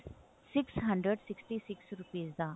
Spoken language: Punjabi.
six hundred sixty six rupees the